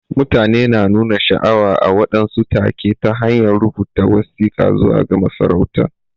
Mutane na nuna sha'awa a waɗansu take ta hanyar rubuta wasika zuwa ga masarautan.